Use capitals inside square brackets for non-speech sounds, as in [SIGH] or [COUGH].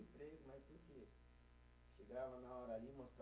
[UNINTELLIGIBLE] Chegava na hora ali [UNINTELLIGIBLE]